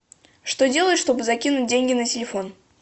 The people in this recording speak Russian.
что делать чтобы закинуть деньги на телефон